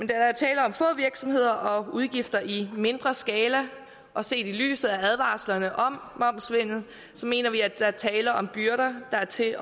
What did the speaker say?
der er tale om få virksomheder og udgifter i mindre skala og set i lyset af advarslerne om momssvindel mener vi at der er tale om byrder der er til